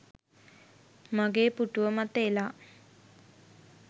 මගේ පුටුව මත එලා